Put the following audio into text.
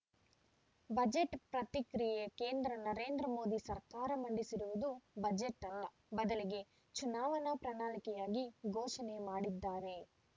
budget ಪ್ರತಿಕ್ರಿಯೆ ಕೇಂದ್ರ ನರೇಂದ್ರ ಮೋದಿ ಸರ್ಕಾರ ಮಂಡಿಸಿರುವುದು ಬಜೆಟ್‌ ಅಲ್ಲ ಬದಲಿಗೆ ಚುನಾವಣಾ ಪ್ರಣಾಳಿಕೆಯಾಗಿ ಘೋಷಣೆ ಮಾಡಿದ್ದಾರೆ